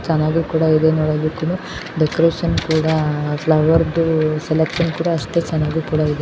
ಚನ್ನಾಗಿ ಕೂಡ ಇದೆ ನೋಡೋದಕ್ಕೆ ಡೆಕೋರೇಷನ್ ಕೂಡ ಫ್ಲವರ್ದು ಸೆಲೆಕ್ಷನ್ ಕೂಡ ಅಷ್ಟೇ ಚೆನ್ನಾಗಿ ಕೂಡ ಇದೆ.